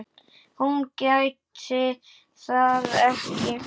Hún gæti það ekki.